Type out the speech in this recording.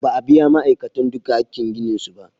Ba a biya ma'aikatan duka hakin ginin su ba.